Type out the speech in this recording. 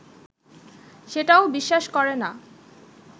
সেটাও বিশ্বাস করে না